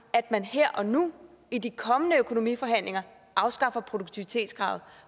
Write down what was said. at man her og nu i de kommende økonomiforhandlinger afskaffer produktivitetskravet